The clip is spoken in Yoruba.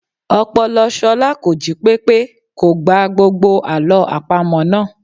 Ọpọlọ Ṣọlá kò jí pépé, kò gba gbogbo Àlọ́ àpamọ̀ náà.